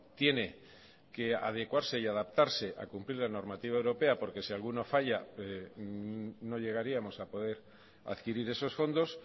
tiene que adecuarse y adaptarse a cumplir la normativa europea porque si alguna falla no llegaríamos a poder adquirir esos fondos